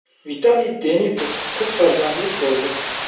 Vitaliy Denisov qiz farzandlik bo‘ldi.